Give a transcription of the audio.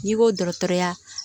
N'i ko dɔgɔtɔrɔya